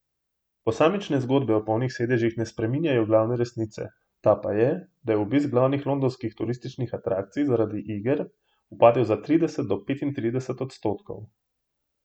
Posamične zgodbe o polnih sedežih ne spreminjajo glavne resnice, ta pa je, da je obisk glavnih londonskih turističnih atrakcij zaradi iger upadel za trideset do petintrideset odstotkov.